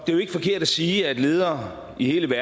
det er jo ikke forkert at sige at ledere i hele